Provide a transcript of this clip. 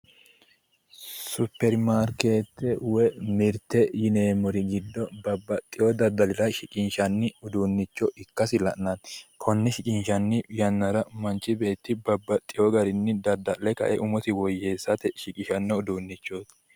Supirimaarikete woyi mirte yinneemmori giddo babbaxxeyo danira shiqqinshanni uduunicho ikkasi la'nanni konne shiqqinshanni yannara manchi beetti babbaxeyo garinni dadda'le umosi woyyeessate shiqqishanno uduunichooti